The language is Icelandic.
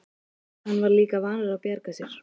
Hann var líka vanur að bjarga sér.